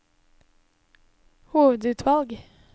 hovedutvalg